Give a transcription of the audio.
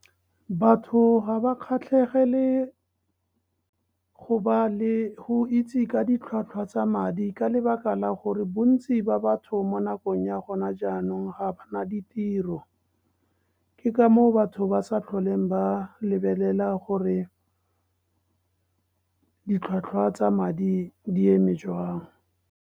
Batho ga ba kgatlhegele go itse ka ditlhwatlhwa tsa madi ka lebaka la gore bontsi ba batho mo nakong ya gona jaanong ga ba na ditiro. Ke ka moo batho ba sa tlholeng ba lebelela gore ditlhwatlhwa tsa madi di eme jwang.